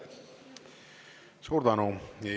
Suur tänu!